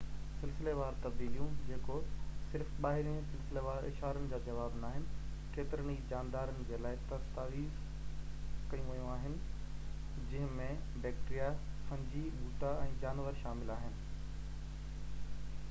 سلسليوار تبديليون، جيڪو صرف ٻاهرين سلسليوار اشارن جا جواب ناهن، ڪيترن ئي جاندارن جي لاءِ دستاويزڪيون ويون آهن، جنهن ۾ بيڪٽيريا، فنجي، ٻوٽا، ۽ جانور شامل آهن